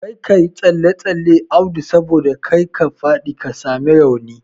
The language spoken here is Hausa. Kar kayi tsalle tsalle Audu saboda kar ka faɗi ka sami rauni